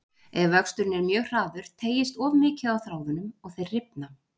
Ef vöxturinn er mjög hraður teygist of mikið á þráðunum og þeir rifna.